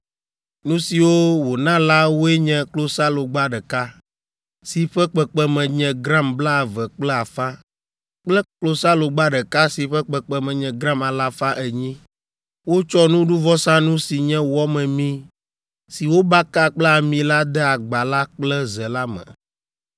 Nu siwo wòna la woe nye klosalogba ɖeka, si ƒe kpekpeme nye gram blaeve kple afã kple klosalogba ɖeka si ƒe kpekpeme nye gram alafa enyi. Wotsɔ nuɖuvɔsanu si nye wɔ memee si wobaka kple ami la de agba la kple ze la me.